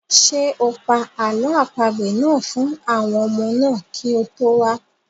Ṣé o pa àlọ́ àpagbè náà fún àwọn ọmọ náà kí o tó wá?